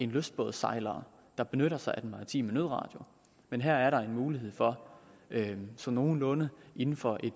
lystbådssejlere der benytter sig af den maritime nødradio men her er der en mulighed for så nogenlunde inden for